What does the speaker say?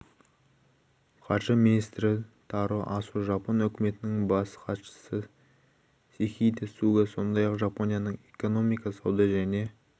қаржы министрі таро асо жапон үкіметінің бас хатшысы сихидэ суга сондай-ақ жапонияның экономика сауда және